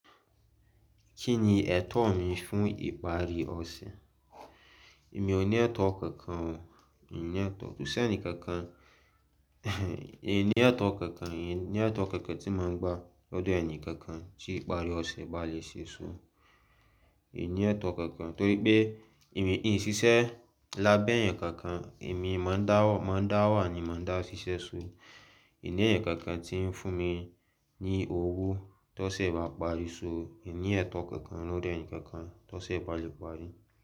Kí ni ẹ̀tọ́ mi fún ìparí ọ̀ṣẹ̀? Èmi ò ní ẹ̀tọ́ kankan o. Èmi ò ní ẹ̀tọ́. Koṣẹ́ ẹni kankan, èmi ní ẹ̀tọ́ kankan, èmi ní ẹ̀tọ́ kankan tí mo ń gbà lọ́dọ̀ ẹni kankan tí ìparí ọ̀ṣẹ̀ bá lè ṣe ṣú. Mi ò ní ẹ̀tọ́ kankan t'ori wípé mi ò ṣíṣe lábé èèyàn kánkán èmi máa ń dá wa ni mo máà ń dá ṣíṣe. Èmi ní ẹ̀yàn kankan tí ń fún mi ní owó tó ṣe bá parí ṣú, èmi ní ẹ̀tọ́ kankan lọ́dọ̀ ẹnì kankan tó ṣe bá lè parí.